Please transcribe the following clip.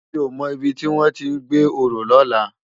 Mi ó mò ibi tiwòn ti n gbé óró lòlá